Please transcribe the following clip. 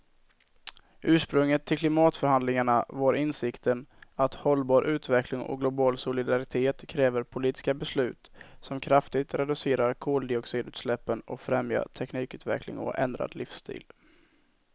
Ursprunget till klimatförhandlingarna var insikten att hållbar utveckling och global solidaritet kräver politiska beslut som kraftigt reducerar koldioxidutsläppen och främjar teknikutveckling och ändrad livsstil.